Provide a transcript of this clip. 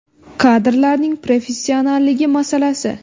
Kadrlarning professionalligi masalasi.